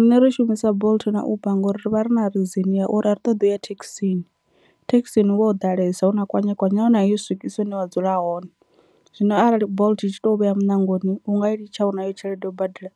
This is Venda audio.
riṋe ri shumisa bolt na uber ngori rivha ri na reason ya uri a ri ṱoḓI u ya thekhisini. Thekhisini hu vha ho ḓalesa huna kwanyekwanye nahone a yi u swikisi hune wa dzula hone zwino arali bolt i tshi tou vhea muṋangoni u nga i litsha u nayo tshelede ya u badela.